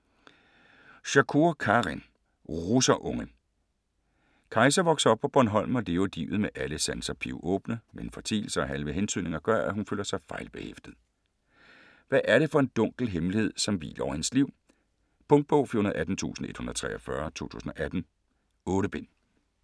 Shakoor, Karin: Russerunge Kajsa vokser op på Bornholm og lever livet med alle sanser pivåbne. Men fortielser og halve hentydninger gør, at hun føler sig fejlbehæftet. Hvad er det for en dunkel hemmelighed, som hviler over hendes liv? Punktbog 418143 2018. 8 bind.